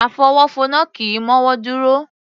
Afọwọ́fọnná kì í mọ́wọ́ dúró